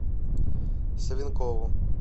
савенкову